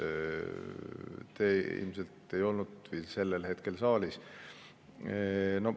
Te ilmselt ei olnud sel hetkel saalis.